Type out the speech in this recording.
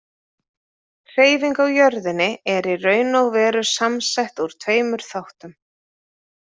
Hreyfing á jörðinni er í raun og veru samsett úr tveimur þáttum.